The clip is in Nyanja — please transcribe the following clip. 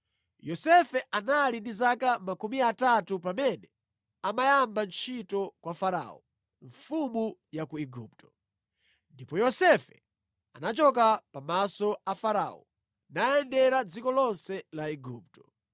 Yosefe anali ndi zaka 30 pamene amayamba ntchito kwa Farao, mfumu ya ku Igupto. Ndipo Yosefe anachoka pa maso pa Farao nayendera dziko lonse la Igupto.